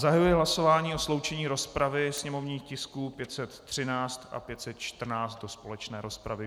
Zahajuji hlasování o sloučení rozpravy sněmovních tisků 513 a 514 do společné rozpravy.